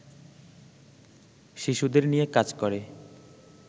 শিশুদের নিয়ে কাজ করে